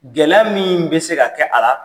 Gɛlɛya min bɛ se ka kɛ a la